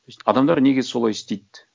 адамдар неге солай істейді